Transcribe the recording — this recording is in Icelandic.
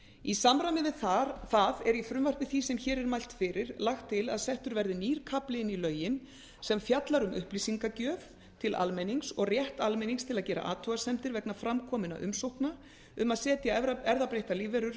í samræmi við það er í frumvarpi því sem hér er mælt fyrir lagt til að settur verði nýr kafli inn í lögin sem fjallar um upplýsingagjöf til almennings og rétt almennings til að gera athugasemdir vegna fram kominna umsókna um að setja erfðabreyttar lífverur